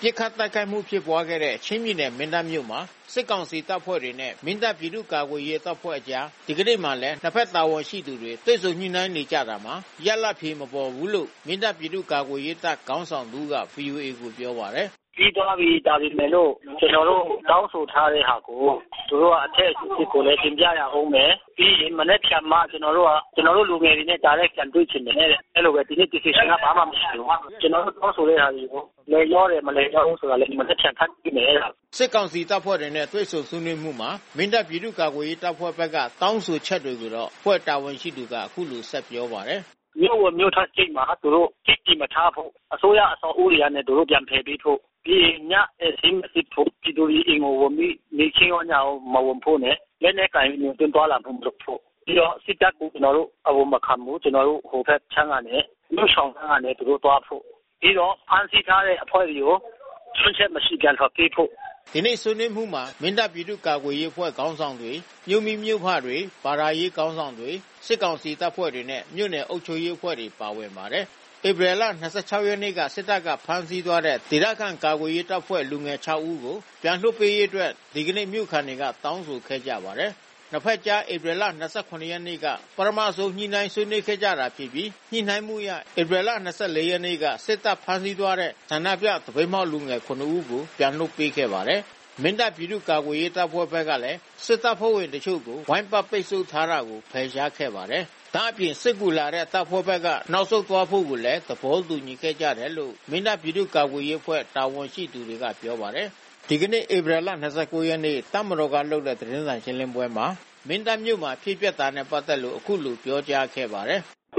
ပစ်ခတ်တိုက်ခတ်မှု ဖြစ်ပွါးခဲ့တဲ့ ချင်းပြည်နယ်၊ မင်းတပ်မြို့မှာ စစ်ကောင်စီတပ်ဖွဲ့တွေနဲ့ မင်းတပ်ပြည်သူ့ ကာကွယ်ရေးအဖွဲ့အကြား ဒီကနေ့မှာလည်း နှစ်ဘက်တာဝန်ရှိသူတွေ တွေ့ဆုံညှိနှိုင်းနေကြတာမှာ ရလဒ်အဖြေမပေါ်ဘူးလို့ မင်းတပ်ပြည်သူ့ ကာကွယ်ရေးတပ်ခေါင်းဆောင်တဦးက ဗွီအိုအေကို ပြောပါတယ်။ "ပြီးသွားပြီ။ ဒါပေမဲ့လို့ ကျနော်တို့ တောင်းဆိုထားတဲ့ဟာကို သူတို့ အထက်အဆင့်ကိုလည်း တင်ပြရဦးမယ်။ ပြီးရင်မနက်ဖြန်မှ ကျနော်တို့ လူငယ်တွေနဲ့ တိုက်ရိုက်ပြန်တွေ့ချင်တယ်တဲ့။ ကျနော်တို့ တောင်းဆိုတဲ့ဟာတွေကို လိုက်လျောတယ်၊ မလိုက်လျောဘူးဆိုတာကို မနက်ဖြန်မှ သိမယ်တဲ့။" စစ်ကောင်စီတပ်ဖွဲ့တွေနဲ့ တွေ့ဆုံဆွေးနွေးမှုမှာ မင်းတပ်ပြည်သူ့ ကာကွယ်ရေးတပ်ဖွဲ့ဘက်က တောင်းဆိုချက်ကိုတော့ အဖွဲ့တာဝန်ရှိသူက အခုလို ဆက်ပြောပါတယ်။ "မြို့ဝင်၊ မြို့ထွက်ဂိတ်မှာ သူတို့ စစ်သည်မထားဖို့။ အစိုးရ အဆောက်အဦးတွေကနေ သူတို့ ပြန်ဖယ်ပေးဖို့။ ညဧည့်စာရင်း မစစ်ဖို့၊ ပြည်သူတွေ အိမ်ကိုဝင်ပြီး နေ့ခင်းရော၊ ညရောမဝင်ဖို့။ လက်နက်ကိုင်ပြီး ဝင်ခြင်း၊ သွားလာတာ မလုပ်ဖို့၊ ပြီးတော့ စစ်တပ်ကို ကျနော်တို့ အဝင်မခံဘူး။ မြို့ရှောင်လမ်းကနေသူတို့ သွားဖို့၊ ပြီးတော့ ဖမ်းဆီးထားတဲ့ အဖွဲ့တွေကို ချို့ယွင်းချက်မရှိ ပြန်လွှတ်ပေးဖို့၊ သူတို့ တောင်းဆိုတာလည်း မရှိဘူး။ ကျနော်တို့ တင်ပြတာကိုပဲ သူတို့နားထောင်တယ်။ ဒီနေ့ ဆွေးနွေးမှုမှာ မင်းတပ်ပြည်သူ့ ကာကွယ်ရေး အဖွဲ့ခေါင်းဆောင်တွေ မြို့မိ၊ မြို့ဖတွေ ဘာသာရေးခေါင်းဆောင်တွေ၊ စစ်ကောင်စီတပ်ဖွဲ့တွေနဲ့ မြို့နယ်အုပ်ချုပ်ရေးအဖွဲ့တွေပါဝင်ပါတယ်။ ဧပြီလ ၂၆ ရက်နေ့က စစ်တပ်ဘက်က ဖမ်းဆီးသွားတဲ့ ဒေသခံ ကာကွယ်ရေးတပ်ဖွဲ့က လူငယ် ၆ ဦးကို ပြန်လွှတ်ပေးနိုင်ရေးအတွက်လဲ ဒီနေ့ မြို့ခံတွေက တောင်းဆိုခဲ့ကြပါတယ်။ ၂ ဘက်ကြား ဧပြီလ ၂၇ ရက်နေ့က ပထမဆုံး ညှိနှိုင်းဆွေးနွေးခဲ့ကြတာဖြစ်ပြီး ညှိနှိုင်းမှုအရ ဧပြီ ၂၄ ရက်နေ့က စစ်တပ်က ဖမ်းဆီးသွားတဲ့ ဆန္ဒပြ သပိတ်မှောက်လူငယ် ၇ ဦးကို ပြန်လွှတ်ပေးခဲ့ပါတယ်။ မင်းတပ်ပြည်သူ့ ကာကွယ်ရေး အဖွဲ့ဘက်လည်း စစ်တပ်ဖဲ့ွဝင်တချို့ကို ဝိုင်းပတ်ပိတ်ဆို့ထားတာကို ဖယ်ရှားခဲ့ပါတယ်။ ဒါ့အပြင် စစ်ကူလာတဲ့ စစ်တပ်ဘက်က နောက်ဆုတ်သွားဖို့ကိုလည်း သဘောတူညီခဲ့ကြတယ်လို့ မင်းတပ်ပြည်သူ့ ကာကွယ်ရေးအဖွဲ့ တာဝန်ရှိသူတွေကပြောပါတယ်။ ဒီနေ့ တပ်မတော်က လုပ်တဲ့ သတင်းစာရှင်းပွဲမှာ မင်းတပ်မြို့မှာ ဖြစ်ခဲ့တာနဲ့ ပတ်သက်လို့ ခုလိုပြောကြားခဲ့ပါတယ်။ "